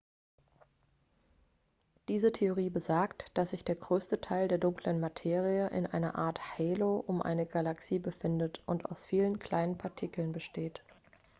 diese theorie besagt dass sich der größte teil der dunklen materie in einer art halo um eine galaxie befindet und aus vielen kleinen partikeln besteht